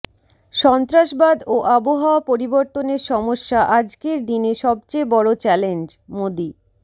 সন্ত্ৰাসবাদ ও আবহাওয়া পরিবর্তনের সমস্যা আজকের দিনে সবচেয়ে বড় চ্যালেঞ্জঃ মোদি